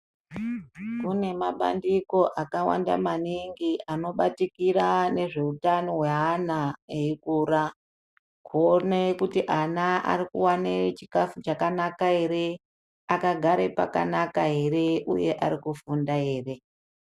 Kune mabandiko akawanda maningi anobatikira ngezveutano hweana eikura. Kuone kuti ana ari kuwane chikafu chakanaka ere, akagare pakanaka ere, uye ari kufunda ere.